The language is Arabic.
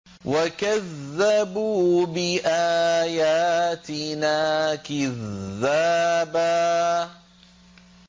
وَكَذَّبُوا بِآيَاتِنَا كِذَّابًا